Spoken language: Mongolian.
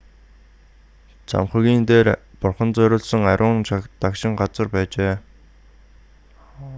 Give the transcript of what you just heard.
цамхагийн дээр бурханд зориулсан ариун дагшин газар байжээ